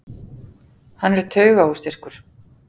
Hann er taugaóstyrkur.